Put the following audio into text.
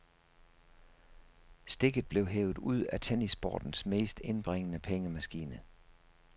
Stikket blev hevet ud af tennissportens mest indbringende pengemaskine.